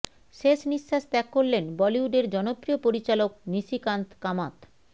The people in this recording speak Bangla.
শেষ নিঃশ্বাস ত্যাগ করলেন বলিউডের জনপ্রিয় পরিচালক নিশিকান্ত কামাত